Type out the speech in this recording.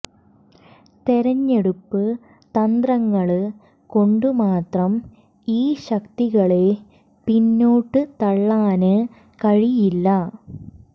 തെരഞ്ഞെടുപ്പ് തന്ത്രങ്ങള് കൊണ്ട് മാത്രം ഈ ശക്തികളെ പിന്നോട്ട് തള്ളാന് കഴിയില്ല